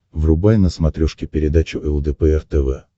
врубай на смотрешке передачу лдпр тв